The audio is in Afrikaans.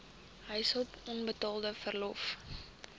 huishulp onbetaalde verlof